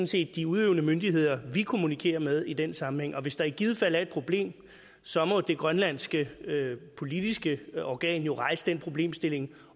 set de udøvende myndigheder vi kommunikerer med i den sammenhæng og hvis der i givet fald er et problem så må det grønlandske politiske organ rejse den problemstilling